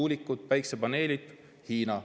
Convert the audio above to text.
Tuulikud, päikesepaneelid – Hiina.